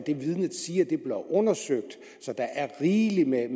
et vidne siger bliver undersøgt så der er rigeligt med